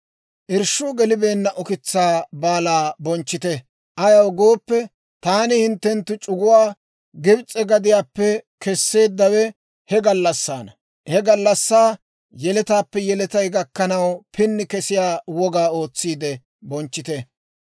«Irshshuu gelibeenna Ukitsaa Baalaa bonchchite; ayaw gooppe, taani hinttenttu c'uguwaa Gibs'e gadiyaappe kesseeddawe he gallassaana. He gallassaa, yeletaappe yeletay gakkanaw pini kesiyaa wogaa ootsiide bonchchite.